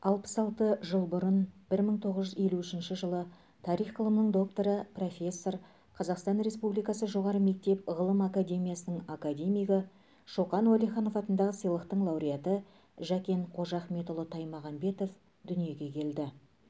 алпыс алты жыл бұрын бір мың тоғыз жүз елу үшінші жылы тарих ғылымының докторы профессор қазақстан республикасы жоғары мектеп ғылым академиясының академигі шоқан уәлиханов атындағы сыйлықтың лауреаты жәкен қожахметұлы таймағанбетов дүниеге келді